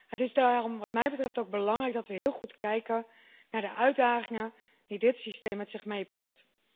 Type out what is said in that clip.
Het is daarom wat mij betreft ook belangrijk dat we heel goed kijken naar de uitdagingen die dit systeem met zich meebrengt.